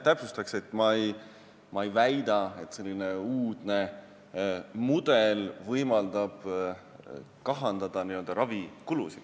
Täpsustan veel: ma ei väida, et selline uudne mudel võimaldab kahandada ravikulusid.